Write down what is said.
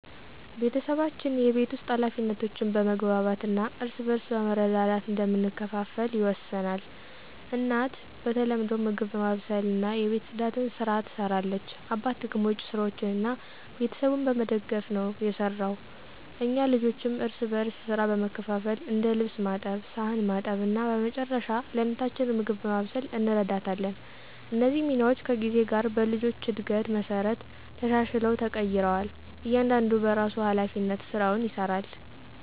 ቤተሰባችን የቤት ውስጥ ኃላፊነቶችን በመግባባት እና እርስ በርስ በመረዳዳት እንደምንከፋፈል ይወሰናል። እናት በተለምዶ ምግብ በማብሰልና የቤት ጽዳትን ስራ ትሰራለች አባት ደግሞ ውጭ ስራዎችን እና ቤተሰቡን በመደገፍ ነው የሰራው። እኛ ልጆችም እርስ በርስ ሥራ በመካፈል እንደ ልብስ ማጠብ ሳህን ማጠብ እና በመጨረሻ ለእናታችን ምግብ በማብሰል እንረዳታለን። እነዚህ ሚናዎች ከጊዜ ጋር በልጆች እድገት መሠረት ተሻሽለው ተቀይረዋል እያንዳንዱ በራሱ ሀላፊነት ስራውን ይሰራል።